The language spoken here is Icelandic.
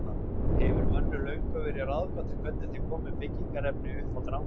Hefur mönnum löngum verið ráðgáta hvernig þeir komu byggingarefni uppá drangana.